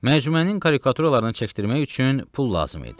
Məcmuənin karikaturalarını çəkdirmək üçün pul lazım idi.